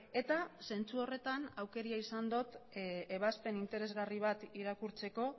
eta zentzu horretan aukera izan dut ebazpen interesgarri bat irakurtzeko